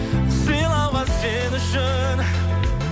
сыйлауға сен үшін